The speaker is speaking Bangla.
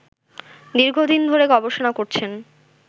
দীর্ঘদিন ধরে গবেষণা করছেন